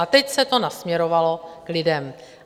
A teď se to nasměrovalo k lidem?